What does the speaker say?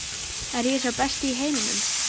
Er ég sá besti í heiminum?